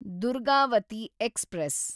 Durgavati express